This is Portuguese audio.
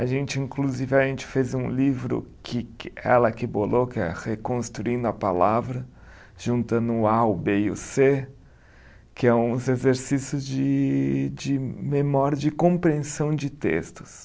A gente, inclusive, a gente fez um livro que que ela que bolou, que é Reconstruindo a Palavra, juntando o A, o Bê e o Cê, que é uns exercícios de de memória, de compreensão de textos.